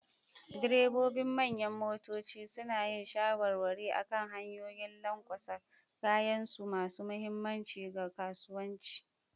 Direbobin manyan motoci suna yin shawarwari akan hanyoyin lanƙwasa, kayansu masu mahimmanci ga kasuwanci.